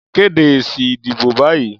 Kéde èsì ìdìbò báyìí